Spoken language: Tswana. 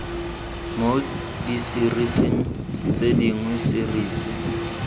mo diserising tse dingwe serisi